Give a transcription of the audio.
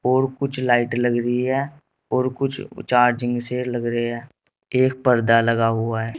और कुछ लाइट लग रही है और कुछ चार्जिंग से लग रहे हैं एक पर्दा लगा हुआ है।